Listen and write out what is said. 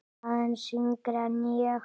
Aðeins yngri en ég.